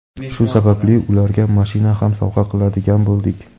Shu sababli ularga mashina ham sovg‘a qiladigan bo‘ldik.